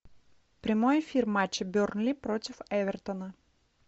прямой эфир матча бернли против эвертона